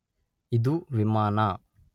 ಇದು ವಿಮಾನ